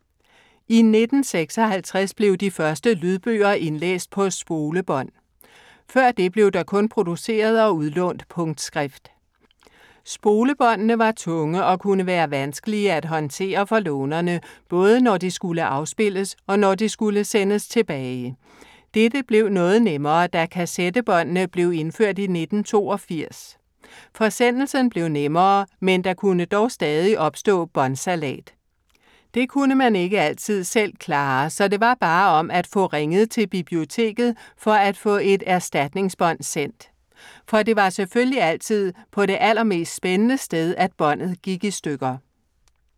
I 1956 blev de første lydbøger indlæst på spolebånd. Før det blev der kun produceret og udlånt punktskrift. Spolebåndene var tunge og kunne være vanskelige at håndtere for lånerne, både når de skulle afspilles og når de skulle sendes tilbage. Dette blev noget nemmere, da kassettebåndene blev indført i 1982. Forsendelsen blev nemmere, men der kunne dog stadig opstå båndsalat. Det kunne man ikke altid selv klare, så det var bare om at få ringet til biblioteket for at få et erstatningsbånd sendt. For det var selvfølgelig altid på det allermest spændende sted, at båndet gik i stykker.